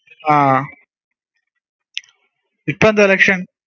ആ ഇപ്പെന്താ election